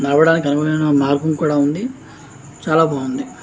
నడవడానికి ఒక మార్గం కూడా ఉంది. చానా బాగుంది.